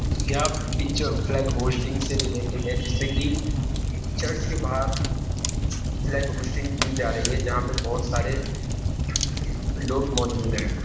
या picture flag hoisting से related है जिसमें कि चर्च के बाहर फ्लैग होस्टिंग की जा रही है जहाँ पर बहुत सारे लोग मौजूद हैं।